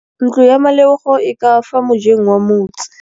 Ntlo ya Malebogo e ka fa mojeng wa motse.